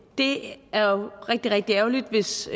det er jo rigtig rigtig ærgerligt hvis